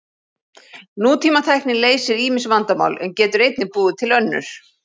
Nútímatækni leysir ýmis vandamál en getur einnig búið til önnur.